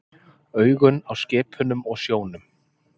Augun á skipunum og sjónum.